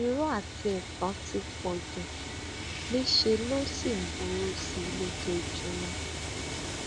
irọ àti ẹtàn ti pọ jù níṣẹ ló sì ń burú sí i lójoojúmọ